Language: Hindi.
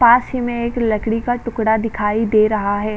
पास ही में एक लकड़ी का टुकड़ा दिखाई दे रहा है।